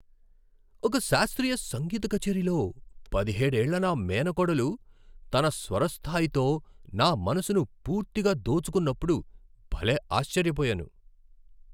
ఒక శాస్త్రీయ సంగీత కచేరీలో పదిహేడేళ్ల నా మేనకోడలు తన స్వర స్థాయితో నా మనసును పూర్తిగా దోచుకున్నప్పుడు భలే ఆశ్చర్యపోయాను.